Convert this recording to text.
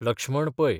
Lakshman Pai